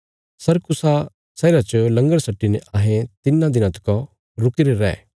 सुरकुसा शहरा च लंगर सट्टीने अहें तिन्नां दिनां तका रुकीरे रै